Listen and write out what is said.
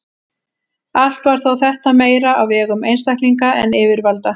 Allt var þetta þó meira á vegum einstaklinga en yfirvalda.